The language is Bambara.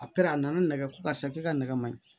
A per'a na nɛgɛ ko karisa k'i ka nɛgɛ maɲi